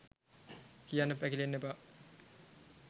කියන්න පැකිලෙන්න එපා.